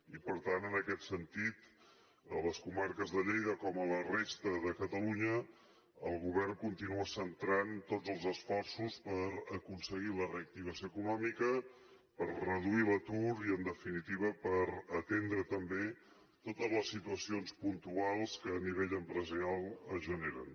i per tant en aquest sentit a les comarques de lleida com a la resta de catalunya el govern continua centrant tots els esforços per aconseguir la reactivació econòmica per reduir l’atur i en definitiva per atendre també totes les situacions puntuals que a nivell empresarial es generen